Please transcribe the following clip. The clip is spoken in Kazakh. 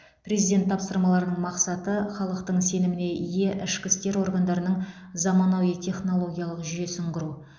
президент тапсырмаларының мақсаты халықтың сеніміне ие ішкі істер органдарының заманауи технологиялық жүйесін құру